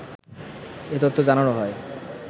এ তথ্য জানানো হয়।